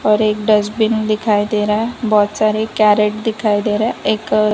और एक डस्टबिन दिखाई दे रहा है बहोत सारे कैरेट दिखाई दे रहा है एक अ --